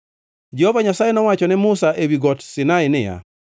Jehova Nyasaye nowacho ne Musa ewi Got Sinai niya,